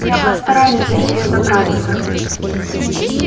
я постараюсь до неё добраться